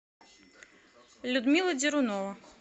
людмила дерунова